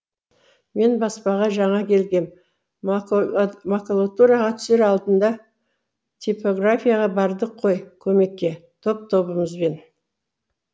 мен баспаға жаңа келгем макулатураға түсер алдында типографияға бардық қой көмекке топ тобымызбен